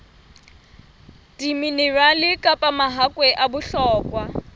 diminerale kapa mahakwe a bohlokwa